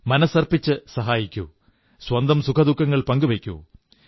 മനസ്സർപ്പിച്ച് സഹായിക്കൂ സ്വന്തം സുഖദുഃഖങ്ങൾ പങ്കുവയ്ക്കൂ